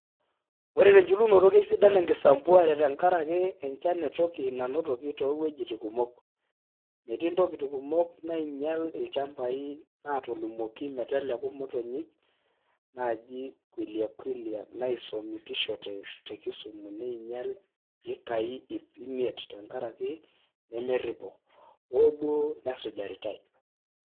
Ore tenchulunoto keisidan enkisampuare tenkaraki enchan e toki nanotoki too wuejitin kumok. Metiintkoti kumok nainyial ilchambai natolimuoki meteleku motonyik naaji Quelea quelea naisomishote te kisumu ninyial ekai ipp imiet tenkaraki nemerrpo, oo duo nesujaritai.